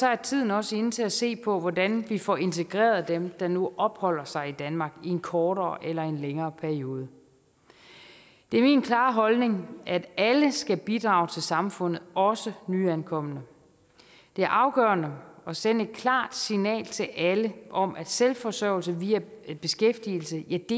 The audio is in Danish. er tiden også inde til at se på hvordan vi får integreret dem der nu opholder sig i danmark i en kortere eller længere periode det er min klare holdning at alle skal bidrage til samfundet også nyankomne det er afgørende at sende et klart signal til alle om at selvforsørgelse via beskæftigelse